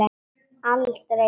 Aldrei villa.